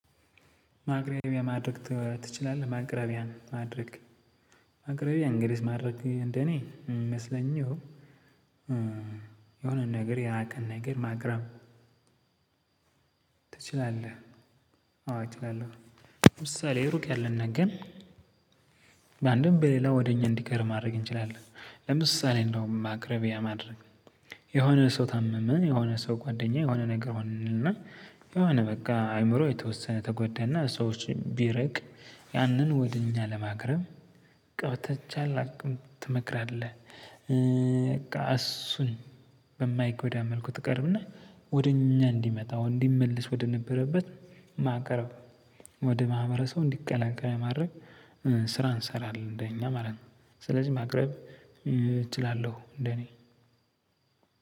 ማቅረቢያ ማድረግ ትችላለህ? ማቅረቢያ ማድረግ ማቅረቢያ እንግሊዝ ማድረግ እንደኔ ይመስለኞ። የሆነ ነገር ያራቀን ነገር ማቅረብ ትችላለህ? አዎ እችላለሁ። ምሳሌ ሩቅ ያለን ነገር። በአንድም በሌላ ወደ እኛ እንዲቀር ማድረግ እንችላለን። ለምሳሌ እንደውም ማቅረቢያ ማድረግ። የሆነ ሰው ታመመ የሆነ ሰው ጓደኛ የሆነ ነገር ሆንንና የሆነ በቃ አእምሮ የተወሰነ ተጎዳና ሰዎች ቢርቅ ያንን ወደ እኛ ለማቅረብ ቀ በተቻለ አቅም ትመክራለህ? በቃ እሱን። በማይጎዳ መልኩ ትቀርብና ወደኛ እዲመጣ እንዲመለስ ወደነበረበት ማቅረብ። ወደ ማህበረሰቡ እንዲቀላቀል ማድረግ። ስራ እንሰራለን እንደኛ ማለት ነው። ስለዚህ ማቅረብ እችላለሁ እንደኔ።